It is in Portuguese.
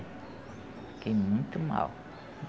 Fiquei muito mal.